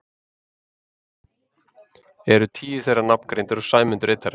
Eru tíu þeirra nafngreindir og Sæmundur einn þeirra.